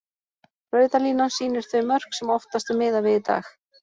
Rauða línan sýnir þau mörk sem oftast er miðað við í dag.